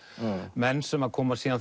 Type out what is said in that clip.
menn sem koma síðar